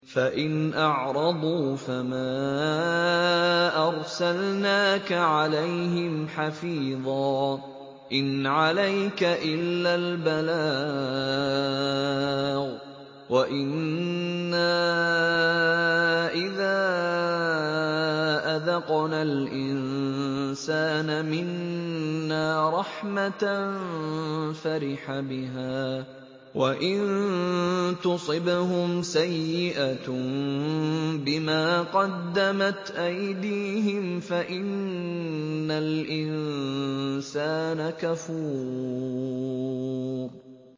فَإِنْ أَعْرَضُوا فَمَا أَرْسَلْنَاكَ عَلَيْهِمْ حَفِيظًا ۖ إِنْ عَلَيْكَ إِلَّا الْبَلَاغُ ۗ وَإِنَّا إِذَا أَذَقْنَا الْإِنسَانَ مِنَّا رَحْمَةً فَرِحَ بِهَا ۖ وَإِن تُصِبْهُمْ سَيِّئَةٌ بِمَا قَدَّمَتْ أَيْدِيهِمْ فَإِنَّ الْإِنسَانَ كَفُورٌ